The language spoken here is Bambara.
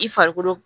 I farikolo